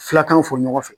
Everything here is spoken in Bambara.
Fulakɛw fɔ ɲɔgɔn fɛ